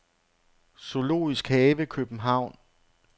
Zoologisk Have København